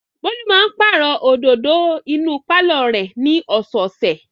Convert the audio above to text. Bólú máa pàrọ̀ òdòdó inú pálọ̀ rẹ̀ ní ọ̀sẹ̀ẹ̀sẹ̀.